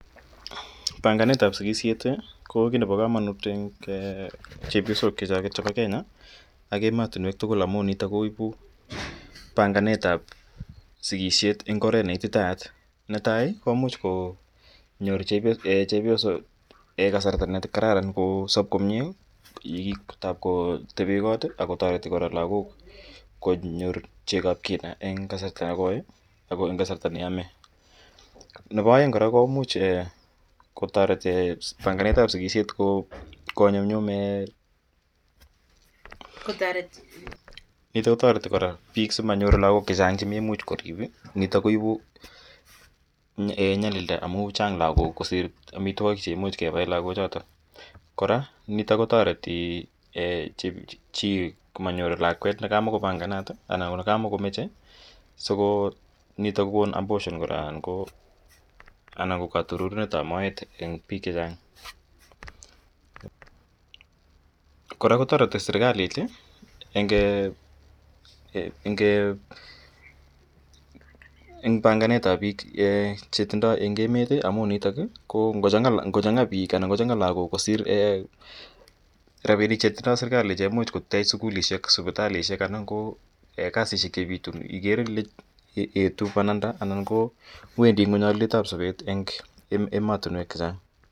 Panganet ap sikishet ko kiit nepa kamanut eng' chepyosok che choket chepa Kenya ak ematunwek tugul amu nitok ko ipu panganet ap sikishet eng' oret ne ititaat. Ne tai komuch konyor chepyosok kasrta ne kararan kosap komye, tap kotepe kot ak kotareti kora lagook konyor cheko ap kina eng' kasarta ne koi ako eng' kasarta ne yame. Nepo aeng' komuch kotareti panganetap sikishet komyumnyumit. Nitok ko tareti kora piik si manyor lagok che chang' che maimuch korip , nitok ko tareti nyalilda amu chang' lagok kosir amitwogik che imuch kepaen lagochatak. Kpra nitok ko taretii chi manyor lakwet ne ka muko panganat anan ko ne kamako mache, si ko nitok ko kon abortion kora anan ko katururnet ap moet eng' piik che chang'. Kora ko tareti serkalit eng' panganet ap piik che tindai eng' emet amu nitok ngochang'a piik anan ngo chang'a lagok kosir rapinik che tindai serkali che imuch kotech sukulishek, siptalishek anan ko kasishek che pitu igere ile etu pananda anan ko wendi ng'uny aliet ap sapet eng'ematunwek che chang'.